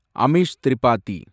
Amish Tripathi